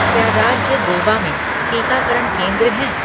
क्या राज्य गोवा में टीकाकरण केंद्र हैं